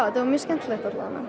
þetta er mjög skemmtilegt